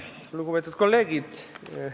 Lugupeetud kolleegid!